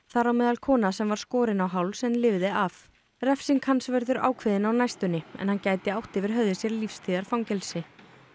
þar á meðal kona sem var skorin á háls en lifði af refsing hans verður ákveðin á næstunni en hann gæti átt yfir höfði sér lífstíðarfangelsi